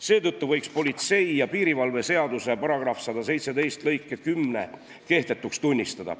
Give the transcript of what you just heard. Seetõttu võiks politsei ja piirivalve seaduse § 117 lõike 10 kehtetuks tunnistada.